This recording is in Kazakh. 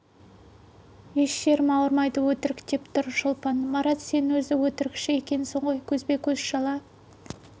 еш жерім де ауырмайды өтірік деп тұр шолпан марат сен өзі өтірікші екенсің ғой көзбе-көз жала